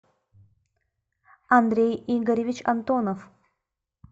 андрей игоревич антонов